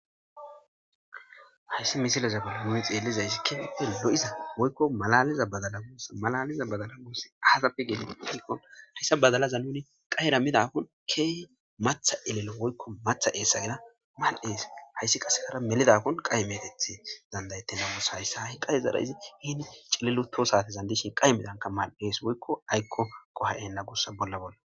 hayssi misileza bola yuni xeellizayssi keehipe lo7iza woykko malaliza badalaoossa malaliza badala guossi aatappe geelin hilqon hayssa badalaza nuni qahera midakkon keehi matha elelo woykko matha eesayera mal7hees hayssi qase hara melidakkon qahmeteth dandayette namusa hayssa hahi qahezara izi hiini cililuto sate zandishin qay midanka mal7ees woykko aykko qoha7enna gosa bolla bolla